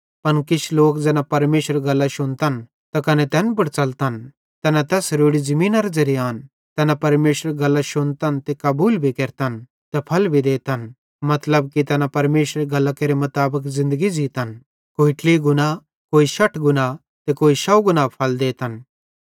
पन किछ लोक ज़ैना परमेशरेरी गल्लां शुन्तन त कने तैन पुड़ च़लतन तैना तैस रोड़ी ज़मीनेरे ज़ेरे आन तैना परमेशरेरी गल्लां शुन्तन त कबूल भी केरतन त फल देतन मतलब की तैना परमेशरेरी गल्लां केरे मुताबिक ज़िन्दगी ज़ीतन कोई ट्लही गुणा कोई शठ गुणा त कोई शौव गुणा फल देतन